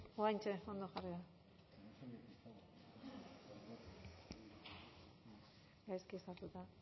hogaintxa olakue gaiske satuta